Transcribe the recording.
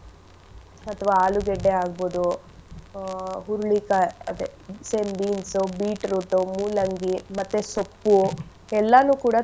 ಅಥವಾ ಆಲೂಗಡ್ಡೆ ಆಗ್ಬೋದು ಆಹ್ ಹುರಳಿಕಾಯ್ ಅದೇ same beans ಉ beetroot ಉ ಮೂಲಂಗಿ ಮತ್ತೆ ಸೊಪ್ಪು ಎಲ್ಲಾನೂ ಕೂಡ.